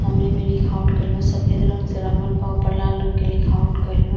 कमरे में लिखावट कइल बा। सफेद रंग से रंगल बा। ओपर लाल रंग के लिखावट कइल बा।